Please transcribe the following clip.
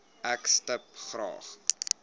ek stip graag